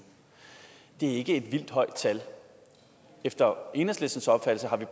det er ikke et vildt højt tal efter enhedslistens opfattelse har vi